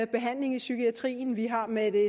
behandling i psykiatrien vi har med